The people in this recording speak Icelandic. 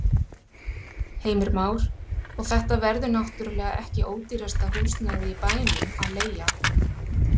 Heimir Már: Og þetta verður náttúrulega ekki ódýrasta húsnæðið í bænum að leigja?